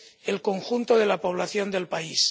el conjunto de la población del país.